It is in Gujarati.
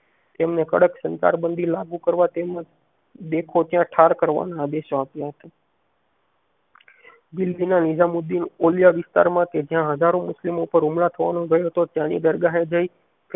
તમેને કડક સંતાર બાંધી લાગુ કરવા તેમજ દેખો ત્યાં ઠાર કરવાના આદેશ આપ્યા હતા દિલ્લીના નિઝામુદીન ઓલિયા માં કે જ્યાં હજારો મુસ્લિમો પાર હુમલા થવાનો ભય હતો ત્યાંની દરઘા એ જઈ